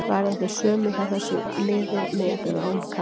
Verða þau sömu hjá þessu liði með eða án Kaka.